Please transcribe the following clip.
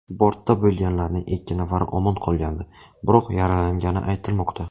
Bortda bo‘lganlarning ikki nafari omon qolgani, biroq yaralangani aytilmoqda.